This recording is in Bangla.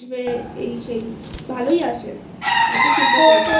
এই সেই ভালোই আসে অতো চিন্তা করিস নাI